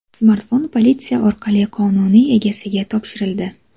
Smartfon politsiya orqali qonuniy egasiga topshirildi.